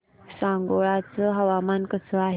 सांगोळा चं हवामान कसं आहे